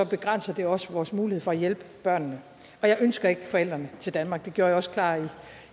begrænser det også vores mulighed for at hjælpe børnene og jeg ønsker ikke forældrene til danmark det gjorde jeg også klart